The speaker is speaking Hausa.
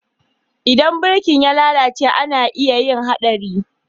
Idan birki ya lalace ana iya yin Haɗari.